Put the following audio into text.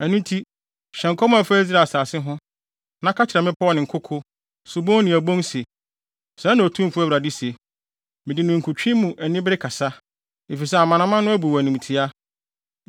Ɛno nti, hyɛ nkɔm a ɛfa Israel asase ho, na ka kyerɛ mmepɔw ne nkoko, subon ne abon se, ‘Sɛɛ na Otumfo Awurade se: Mede ninkutwe mu anibere kasa, efisɛ amanaman no abu wo animtiaa.